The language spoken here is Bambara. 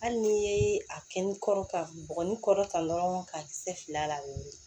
Hali n'i ye a kɛn kɔrɔ ka bɔgɔ ni kɔrɔta dɔrɔn ka kisɛ fila la